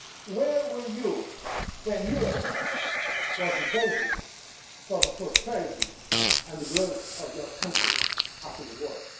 Where were you when Europe was the basis for the prosperity and growth of your countries after the war?